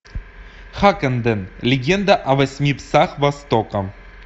хаккенден легенда о восьми псах востока